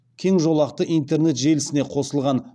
кеңжолақты интернет желісіне қосылған